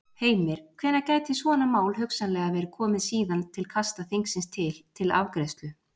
Heimir: Hvenær gæti svona mál hugsanlega verið komið síðan til kasta þingsins til, til afgreiðslu?